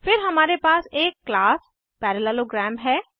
फिर हमारे पास एक क्लास पैरालेलोग्राम है